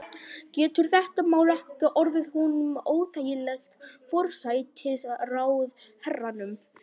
Getur þetta mál ekki orðið honum óþægilegt, forsætisráðherranum?